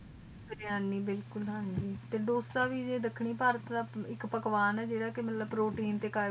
ਬਿਰਯਾਨੀ ਬਿਲਕੁਲ ਹਨ ਜੀ ਤੇ ਡਾਸਰ ਵੀ ਦਖਣੀ ਪਰਤ ਦਾ ਆਇਕ ਪਕਵਾਨ ਆ ਜੇਰਾ ਕ ਮਤਲਬ ਪ੍ਰੋਤੀਏਨ ਤੇ ਕੈਰ੍ਬੋਹ੍ਯ੍ਦ੍ਰਾਤੇ